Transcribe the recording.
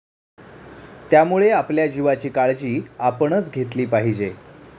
त्यामुळे आपल्या जीवाची काळजी आपणच घेतली पाहिजे.